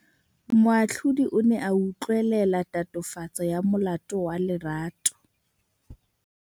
Moatlhodi o ne a utlwelela tatofatsô ya molato wa Lerato.